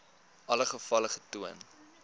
alle gevalle getoon